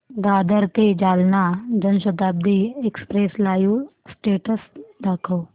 दादर ते Jalna Janshatabdi express live status दाखव